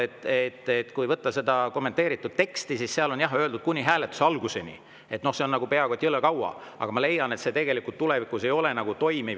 Ma ütlen veel kord, et kui võtta kommentaaride tekst, siis seal on jah öeldud, et kuni hääletuse alguseni – no see on peaaegu et jõle kaua –, aga ma leian, et tegelikult tulevikus ei ole see toimiv.